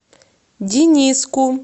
дениску